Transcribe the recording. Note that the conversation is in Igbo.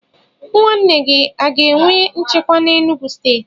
Nwanne gi o ga enwe nchekwa n'Enugwu steeti?